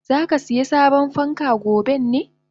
Zakasiya sabon fanka goben ne?